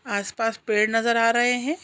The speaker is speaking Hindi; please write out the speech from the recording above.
आसपास पेड़ नज़र आ रहे है।